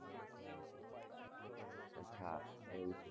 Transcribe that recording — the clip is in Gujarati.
અચા એવું છે